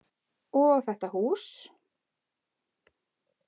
Og þetta hús.